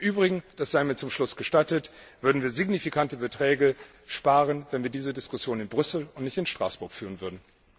Im Übrigen das sei mir zum Schluss gestattet würden wir signifikante Beträge sparen, wenn wir diese Diskussion in Brüssel und nicht in Straßburg führen würden.